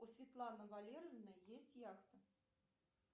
у светланы валерьевны есть яхта